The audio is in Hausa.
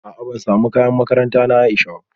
A'a ban samu kayan makaranta na Aisha ba